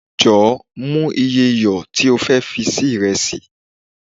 jọ, mo iye iyọ ti o fe fi se iresi